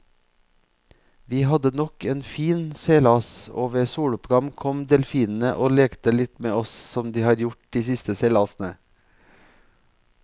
Vi hadde nok en fin seilas, og ved soloppgang kom delfinene og lekte litt med oss som de har gjort de siste seilasene.